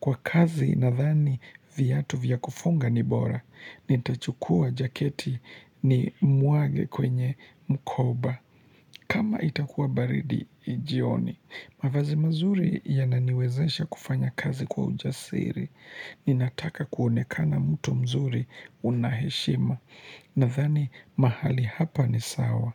Kwa kazi nadhani viatu vya kufunga ni bora. Nitachukua jaketi ni mwage kwenye mkoba kama itakuwa baridi jioni mavazi mazuri yananiwezaisha kufanya kazi kwa ujasiri Ninataka kuonekana mtu mzuri unaheshima Nadhani mahali hapa ni sawa.